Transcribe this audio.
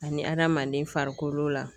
Ani adamaden farikolo la